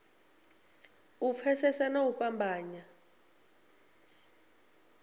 u pfesesa na u fhambanya